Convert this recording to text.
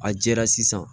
A jɛra sisan